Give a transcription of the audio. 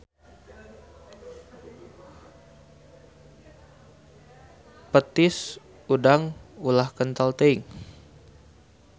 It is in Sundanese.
Petis udang ulah kentel teuing.